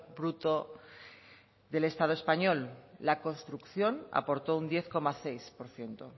bruto del estado español la construcción aportó un diez coma seis por ciento